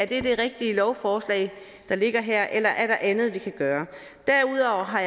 det er det rigtige lovforslag der ligger her eller der er andet vi kan gøre derudover har